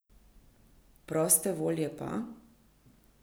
Proste volje pa?